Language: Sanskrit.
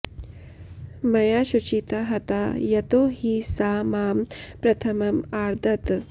मया शुचिता हता यतो हि सा मां प्रथमम् आर्दत्